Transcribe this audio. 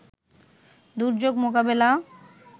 দুর্যোগ মোকাবেলা